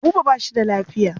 Buba ba shi da lafiya.